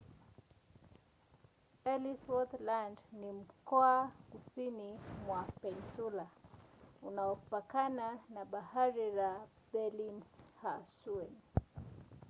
ellsworth land ni mkoa kusini mwa peninsula unaopakana na bahari la bellingshausen